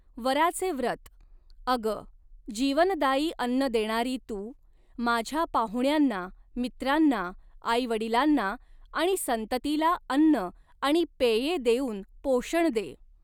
वराचे व्रत, अगं, जीवनदायी अन्न देणारी तू, माझ्या पाहुण्यांना, मित्रांना, आईवडिलांना आणि संततीला अन्न आणि पेये देऊन पोषण दे.